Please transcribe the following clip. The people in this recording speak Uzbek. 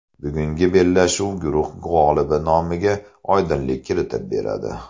Bugungi bellashuv guruh g‘olibi nomiga oydinlik kiritib beradi.